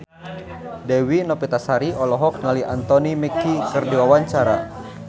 Dewi Novitasari olohok ningali Anthony Mackie keur diwawancara